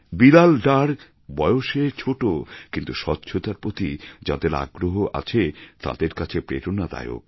বিলাল ডার বয়সে ছোট কিন্তু স্বচ্ছতার প্রতি যাঁদের আগ্রহ আছে তাঁদের কাছে প্রেরণাদায়ক